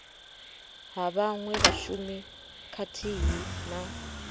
ha vhaṅwe vhashumi khathihi na